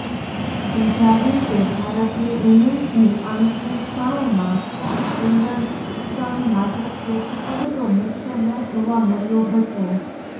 ત્રીજા દિવસે ભારતીય ઇનિંગ્સની અંતિમ ક્ષણોમાં એન્ડરસન માત્ર કેચ પડતો મૂકતો ન જોવા મળ્યો હતો